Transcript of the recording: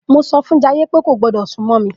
Mo sọfún Jayé pé kò gbọdọ̀ súnmọ́ mí